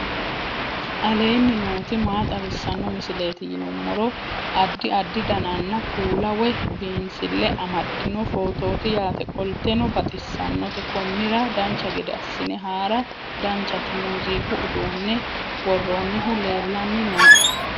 aleenni nooti maa xawisanno misileeti yinummoro addi addi dananna kuula woy biinsille amaddino footooti yaate qoltenno baxissannote konnira dancha gede assine haara danchate muuziiqu uduunne worroonnihu leellanni nooe